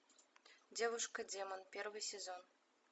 девушка демон первый сезон